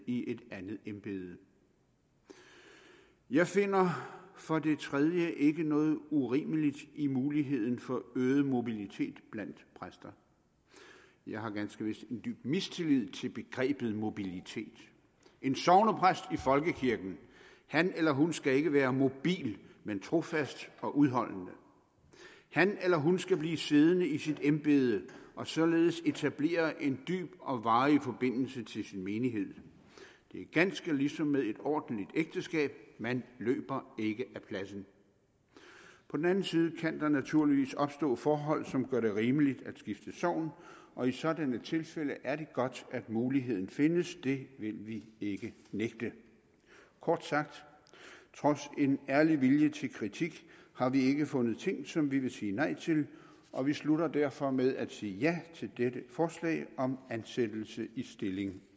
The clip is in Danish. i et andet embede jeg finder for det tredje ikke noget urimeligt i muligheden for øget mobilitet blandt præster jeg har ganske vist en dyb mistillid til begrebet mobilitet en sognepræst i folkekirken han eller hun skal ikke være mobil men trofast og udholdende han eller hun skal blive siddende i sit embede og således etablere en dyb og varig forbindelse til sin menighed det er ganske ligesom med et ordentligt ægteskab man løber ikke ad pladsen på den anden side kan der naturligvis opstår forhold som gør det rimeligt at skifte sogn og i sådanne tilfælde er det godt at muligheden findes det vil vi ikke nægte kort sagt trods en ærlig vilje til kritik har vi ikke fundet ting som vi vil sige nej til og vi slutter derfor med at sige ja til dette forslag om ansættelse i stilling